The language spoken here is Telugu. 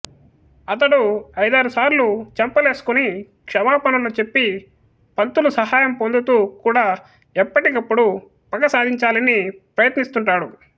అతడు ఐదారుసార్లు చెంపలేసుకుని క్షమాపణలు చెప్పి పంతులు సహాయం పొందుతూ కూడా ఎప్పటికప్పుడు పగసాధించాలని ప్రయత్నిస్తుంటాడు